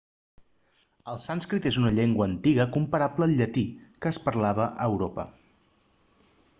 el sànscrit és una llengua antiga comparable al llatí que es parlava a europa